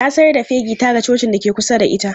Na sayar da fegi ta ga cocin da ke kusa da ita.